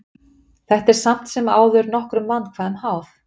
Þetta er samt sem áður nokkrum vandkvæðum háð.